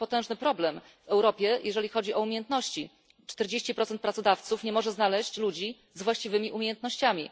Mamy potężny problem w Europie, jeżeli chodzi o umiejętności 40 pracodawców nie może znaleźć pracowników z właściwymi umiejętnościami.